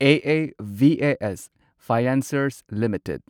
AAVAS financiers limited